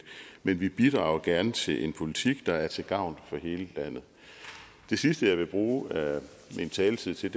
men vi bidrager gerne til en politik der er til gavn for hele landet det sidste jeg vil bruge min taletid til